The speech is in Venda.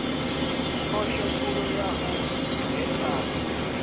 phosho khulu ya u gekhana